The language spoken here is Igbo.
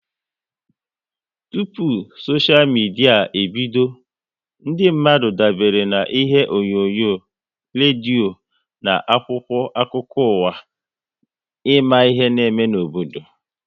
Tụpụ soshia midia ebido, ndị mmadụ dabere na ihe onyonyo, redio na akwụkwọ akụkọ ụwa ịma ihe n'eme n'obodo